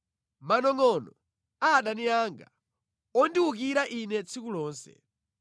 manongʼonongʼo a adani anga ondiwukira ine tsiku lonse.